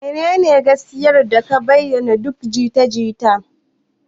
Menene gaskiyar da ke bayan duk jita-jita?